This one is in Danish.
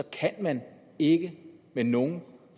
kan man ikke med nogen